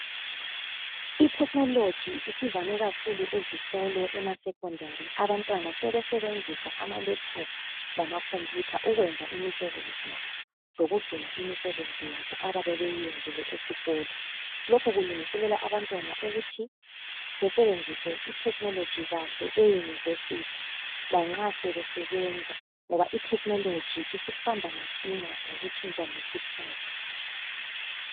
I technology isivame kakhulu ezikolo ema secondary abantwana sebesebenzisa ama laptop lama computer ukwenza imisebenzi yabo lokugcina imisebenzi yabo ababe beyenzile esikolo .Lokhu kulungiselela abantwana ukuthi besebenzise I technology kahle eyunivesithi lanxa sebesenza ngoba I technology isihamba masinya ngokutshintsha ngekhathi